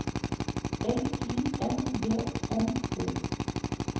L Y N G M O